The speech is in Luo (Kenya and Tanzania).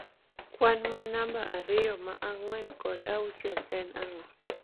kwan ma namba ariyo ma ang'wen kod auchiel en ang'o